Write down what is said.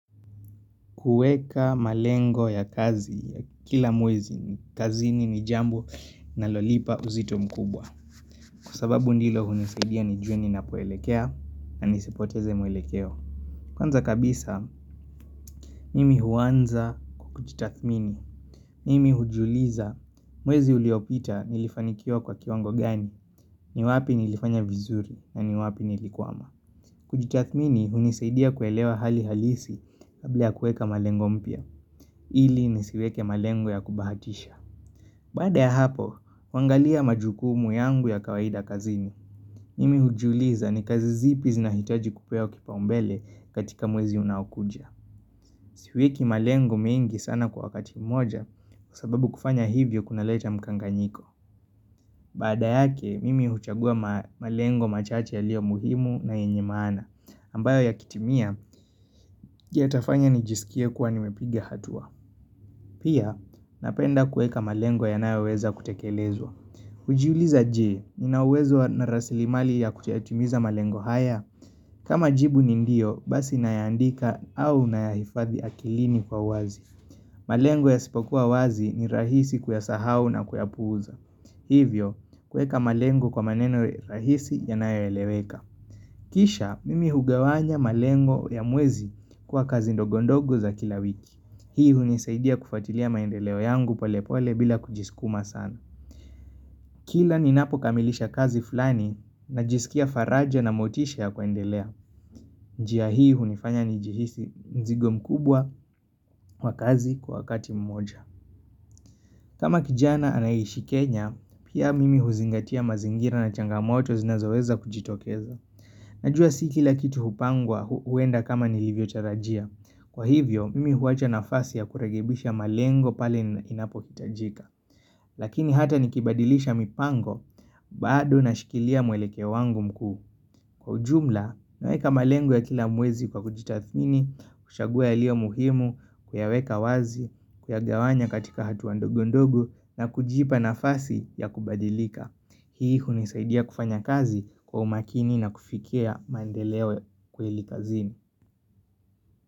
Kuweka malengo ya kazi ya kila mwezi, kazini ni jambo linalonipa uzito mkubwa. Kwa sababu ndilo hunisaidia nijue ninapoelekea na nisipoteze mwelekeo. Kwanza kabisa, mimi huanza kwa kujitathmini. Mimi hujiuliza mwezi uliopita nilifanikiwa kwa kiwango gani, ni wapi nilifanya vizuri na ni wapi nilikwama. Kujitathmini hunisaidia kuelewa hali halisi kabla ya kuweka malengo mpya. Ili nisiweke malengo ya kubahatisha. Baada ya hapo, huangalia majukumu yangu ya kawaida kazini Mimi hujiuliza ni kazi zipi zinahitaji kupewa kipaumbele katika mwezi unaokuja Siweki malengo mengi sana kwa wakati mmoja Kwa sababu kufanya hivyo kunaleta mkanganyiko Baada yake, mimi huchagua malengo machache yaliyo muhimu na yenye maana ambayo yakitimia, yatafanya nijisikia kuwa nimepigia hatua. Pia, napenda kuweka malengo yanayoweza kutekelezwa. Hujiuliza jee, Nina uwezo na rasilimali ya kuyatimiza malengo haya. Kama jibu ni ndio, basi nayaandika au nayahifadhi akilini kwa wazi. Malengo yasipokuwa wazi ni rahisi kuyasahau na kuyapuuza. Hivyo, kuweka malengo kwa maneno rahisi yanayoeleweka. Kisha, mimi hugawanya malengo ya mwezi kwa kazi ndogondogo za kila wiki. Hii hunisaidia kufuatilia maendeleo yangu palepole bila kujiskuma sana. Kila ninapo kamilisha kazi fulani, najisikia faraja na motisha ya kuendelea. Njia hii hunifanya nijihisi mzigo mkubwa kwa kazi kwa wakati mmoja. Kama kijana anayeishi Kenya, pia mimi huzingatia mazingira na changamoto zinazoweza kujitokeza. Najua si kila kitu hupangwa huenda kama nilivyotarajia. Kwa hivyo, mimi huwacha nafasi ya kurekebisha malengo pale inapohitajika. Lakini hata nikibadilisha mipango, bado nashikilia mwelekeo wangu mkuu. Kwa ujumla, naweka malengo ya kila mwezi kwa kujitathini, kuchagua yaliyo muhimu, kuyaweka wazi, kuyagawanya katika hatua ndogo ndogo, na kujipa nafasi ya kubadilika. Hii hunisaidia kufanya kazi kwa umakini na kufikia maendeleo kweli kazini.